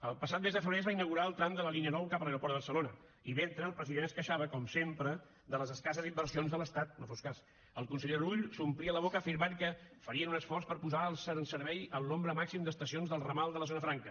el passat mes de febrer es va inaugurar el tram de la línia nou cap a l’aeroport de barcelona i mentre el president es queixava com sempre de les escasses inversions de l’estat no fos cas el conseller rull s’omplia la boca afirmant que farien un esforç per posar en servei el nombre màxim d’estacions del ramal de la zona franca